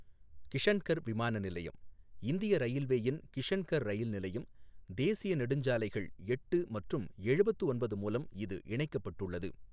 கிஷன்கர் விமான நிலையம், இந்திய ரயில்வேயின் கிஷன்கர் ரயில் நிலையம், தேசிய நெடுஞ்சாலைகள் எட்டு மற்றும் எழுபத்து ஒன்பது மூலம் இது இணைக்கப்பட்டுள்ளது.